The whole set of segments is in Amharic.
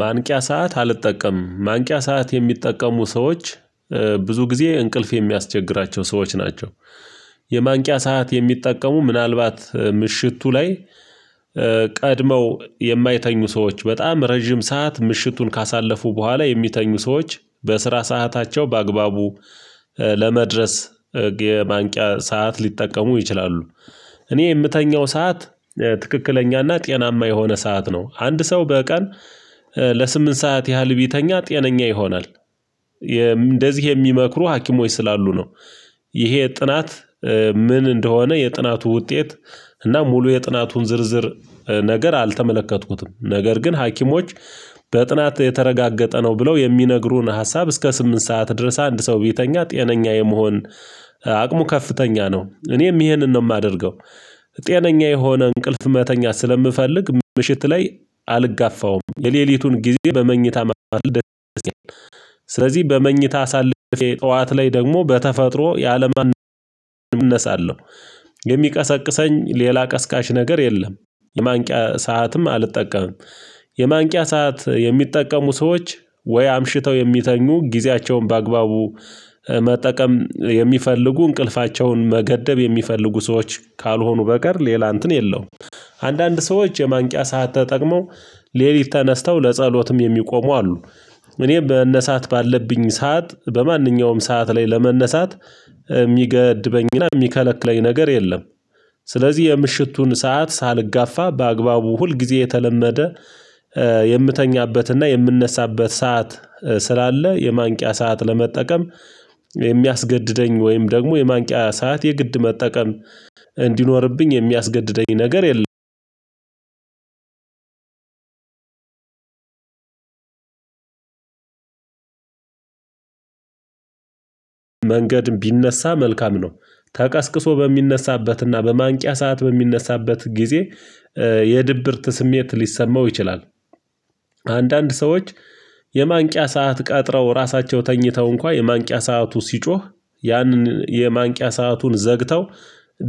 ማንቂያ ሰዓት አልጠቀምም ማንቂያ ሰዓት የሚጠቀሙ ሰዎች ብዙ ጊዜ እንቅልፍ የሚያስቸግራቸው ሰዎች ናቸው። የማንቂያ ሰዓት የሚጠቀሙ ምናልባት ምሽቱ ላይ። ቀድመው የማይተኙ ሰዎች በጣም ረጅም ሰዓት ምሽቱን ካሳለፉ በኋላ የሚተኙ ሰዎች በስራ ሰዓታቸው በአግባቡ ለመድረስ የማንቂያ ሰዓት ሊጠቀሙ ይችላሉ። እኔ የምተኛው ሰዓት ትክክለኛና ጤናማ የሆነ ሰዓት ነው። አንድ ሰው በቀን ለስምንት ሰዓት ያህል ቢተኛ ጤነኛ ይሆናል። እንደዚህ የሚመክሩ ሀሞች ስላሉ ነው። ይሄ ጥናት ምን እንደሆነ የጥናቱ ውጤት እና ሙሉ የጥናቱን ዝርዝር ነገር አልተመለከትኩትም። ነገር ግን ሀኪሞች በጥናት የተረጋገጠ ነው ብለው የሚነግሩን ሀሳብ እስከ ስምንት ሰዓት ድረስ አንድ ሰው ቢተኛ ጤነኛ የመሆን አቅሙ ከፍተኛ ነው እኔም ይሄንን ነው የማደርገው። ጤነኛ የሆነ እንቅልፍ መተኛት ስለምፈልግ ምሽት ላይ አልጋፋውም የሌሊቱን ጊዜ በመኝታ መጣ ልደት አለበት። ስለዚህ በመኝታ አሳልፌ ጠዋት ላይ ደግሞ በተፈጥሮ ያለምን ያለምንም እነሳለሁ። የሚቀሰቅሰኝ ሌላ ቀስቃሽ ነገር የለም። የማንቂያ ሰዓትም አልጠቀምም። የማንቂያ ሰዓት የሚጠቀሙ ሰዎች ወይ አምሽተው የሚተኙ ጊዜያቸውን በአግባቡ መጠቀም የሚፈልጉ እንቅልፋቸውን መገደብ የሚፈልጉ ሰዎች ካልሆኑ በቀር ሌላ እንትን የለውም። አንዳንድ ሰዎች የማንቂያ ሰዓት ተጠቅመው ሌሊት ተነስተው ለጸሎትም የሚቆሙ አሉ። እኔ መነሳት ባለብኝ ሰዓት በማንኛውም ሰዓት ላይ ለመነሳት የሚገድበኝና የሚከለክለኝ ነገር የለም። ስለዚህ የምሽቱን ሰዓት ሳልጋፋ በአግባቡ ሁል ጊዜ የተለመደ የምተኛበትና የምነሳበት ሰዓት ስላለ የማንቂያ ሰዓት ለመጠቀም የሚያስገድደኝ ወይም ደግሞ የማንቂያ ሰዓት የግድ መጠቀም እንዲኖርብኝ የሚያስገድደኝ ነገር የለም። መንገድ ቢነሳ መልካም ነው። ተቀስቅሶ በሚነሳበትና በማንቂያ ሰዓት በሚነሳበት ጊዜ የድብርት ስሜት ሊሰማው ይችላል። አንዳንድ ሰዎች የማንቂያ ሰዓት ቀጥረው ራሳቸው ተኝተው እንኳን የማንቂያ ሰዓቱ ሲጮህ ያንን የማንቂያ ሰአቱን ዘግተው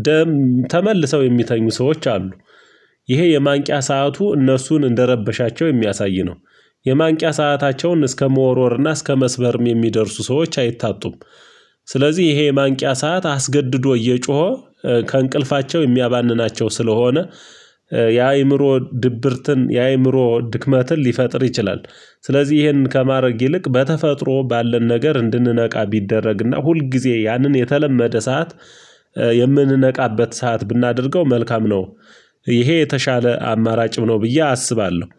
ደም ተመልሰው የሚተኙ ሰዎች አሉ። ይሄ የማንቂያ ሰዓቱ እነሱን እንደረበሻቸው የሚያሳይ ነው። የማንቂያ ሰአታቸውን እስከ መወርወርና እስከ መስበርም የሚደርሱ ሰዎች አይታጡም። ስለዚህ ይሄ የማንቂያ ሰዓት አስገድዶ እየጮኸ ከእንቅልፋቸው የሚያባንናቸው ስለሆነ የአእምሮ ድብርትን የአእምሮ ድክመትን ሊፈጥር ይችላል። ስለዚህ ይሄንን ከማድረግ ይልቅ በተፈጥሮ ባለን ነገር እንድንነቃ ቢደረግና ሁል ጊዜ ያንን የተለመደ ሰዓት የምንነቃበት ሰዓት ብናደርገው መልካም ነው። ይሄ የተሻለ አማራጭም ነው ብዬ አስባለሁ